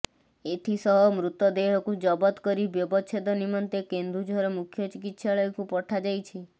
ଏଥିସହ ମୃତଦେହକୁ ଜବତ କରି ବ୍ୟବଚ୍ଛେଦ ନିମନ୍ତେ କେନ୍ଦୁଝର ମୁଖ୍ୟ ଚିକିତ୍ସାଳୟକୁ ପଠାଯାଇଛି